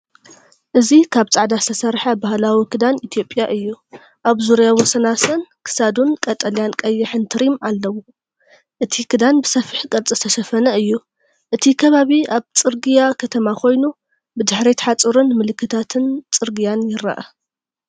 እዚ ካብ ጻዕዳ ዝተሰርሐ ባህላዊ ክዳን ኢትዮጵያ እዩ፤ ኣብ ዙርያ ወሰናስን ክሳዱን ቀጠልያን ቀይሕን ትሪም ኣለዎ። እቲ ክዳን ብሰፊሕ ቅርጺ ዝተሸፈነ እዩ። እቲ ከባቢ ኣብ ጽርግያ ከተማ ኮይኑ፡ ብድሕሪት ሓጹርን ምልክታት ጽርግያን ይርአ።